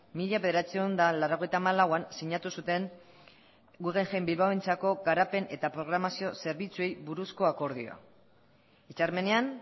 mila bederatziehun eta laurogeita hamalauean sinatu zuten guggenheim bilbaorentzako garapen eta programazio zerbitzuei buruzko akordioa hitzarmenean